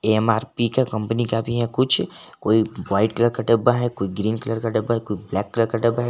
MRP के company का भी है कुछ कोई वाइट कलर का डब्बा है कोई ग्रीन कलर का डब्बा है कोई ब्लैक कलर का डब्बा है।